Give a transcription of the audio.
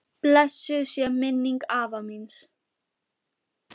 Blessuð sé minning afa míns.